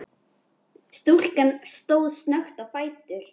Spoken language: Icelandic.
Stúlkan stóð snöggt á fætur.